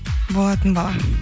болатын бала